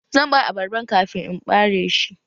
Zan ɓare abarban kafin in ɓareshi.